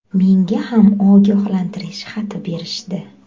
Menga ham ogohlantirish xati berishdi.